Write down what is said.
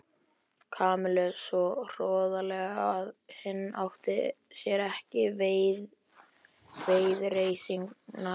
Kamillu svo hroðalega að hinn átti sér ekki viðreisnar von.